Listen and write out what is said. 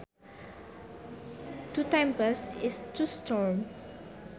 To tempest is to storm